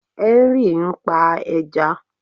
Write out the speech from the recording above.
Henry ń pa ẹja